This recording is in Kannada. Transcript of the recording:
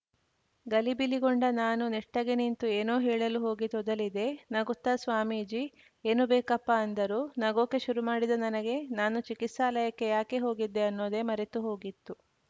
ಗಲಿಬಿಲಿಗೊಂಡ ನಾನು ನೆಟ್ಟಗೆ ನಿಂತು ಏನೋ ಹೇಳಲು ಹೋಗಿ ತೊದಲಿದೆ ನಗುತ್ತಾ ಸ್ವಾಮೀಜಿ ಏನು ಬೇಕಪ್ಪಾ ಅಂದರು ನಗೋಕೆ ಶುರುಮಾಡಿದ ನನಗೆ ನಾನು ಚಿಕಿತ್ಸಾಲಯಕ್ಕೆ ಯಾಕೆ ಹೋಗಿದ್ದೆ ಅನ್ನೋದೆ ಮರೆತು ಹೋಗಿತ್ತು